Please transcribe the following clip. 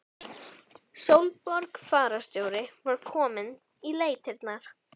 Sólborg fararstjóri var komin í leitirnar.